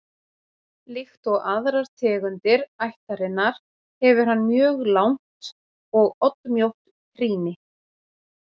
Líkt og aðrar tegundir ættarinnar hefur hann mjög langt og oddmjótt trýni.